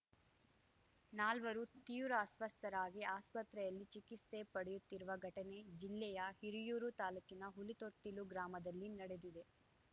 ನಾಲ್ವರು ತೀವ್ರ ಅಸ್ವಸ್ಥರಾಗಿ ಆಸ್ಪತ್ರೆಯಲ್ಲಿ ಚಿಕಿಸ್ತೆ ಪಡೆಯುತ್ತಿರುವ ಘಟನೆ ಜಿಲ್ಲೆಯ ಹಿರಿಯೂರು ತಾಲೂಕಿನ ಹುಲಿತೊಟ್ಟಿಲು ಗ್ರಾಮದಲ್ಲಿ ನಡೆದಿದೆ